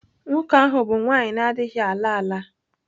Nwoke ahụ bụ nwanyị na-adịghị ala ala.